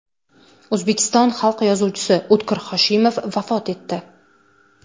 O‘zbekiston xalq yozuvchisi O‘tkir Hoshimov vafot etdi.